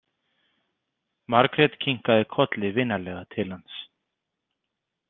Margrét kinkaði kolli vinalega til hans.